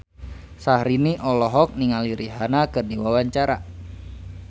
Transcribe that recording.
Syahrini olohok ningali Rihanna keur diwawancara